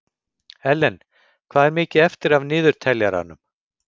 Ellen, hvað er mikið eftir af niðurteljaranum?